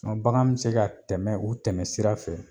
N ga bagan be se ka tɛmɛ o tɛmɛ sira fɛ